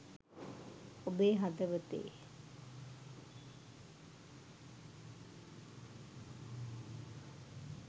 ඔබේ හදවතේ